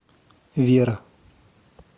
вера